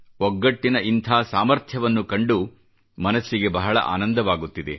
ಒಗ್ಗಟ್ಟಿನ ಇಂಥ ಸಾಮರ್ಥ್ಯವನ್ನು ಕಂಡು ಮನಸ್ಸಿಗೆ ಬಹಳ ಆನಂದವಾಗುತ್ತಿದೆ